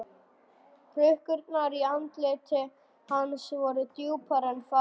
Hrukkurnar í andliti hans voru djúpar en fáar.